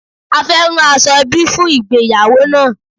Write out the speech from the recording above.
A fé rán aṣọẹbi fún ìgbéyàwó náà.